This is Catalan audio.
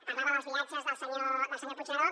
parlava dels viatges del senyor puigneró